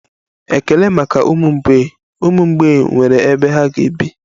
Ekele maka ụmụ mgbei, ụmụ mgbei nwere ebe ha ga-ebi